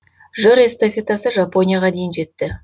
жыр эстафетасы жапонияға дейін жетті